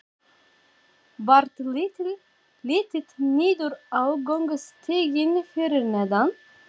Varð litið niður á göngustíginn fyrir neðan.